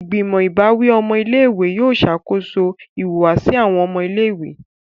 Igbimọ ìbáwí ọmọ ilé-ìwé yóò ṣakoso ìhùwàsí awọn ọmọ ilé-ìwé.